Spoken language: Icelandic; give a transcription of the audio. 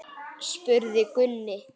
spurði Gunni.